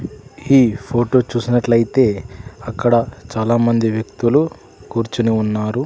ఈ ఫోటో చూసినట్లయితే అక్కడ చాలామంది వ్యక్తులు కూర్చొని ఉన్నారు.